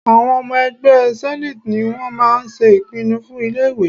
Àwọn ọmọ ẹgbẹ́ senate ni wọ́n máa ń ṣe ìpinnu fún ilé ìwé.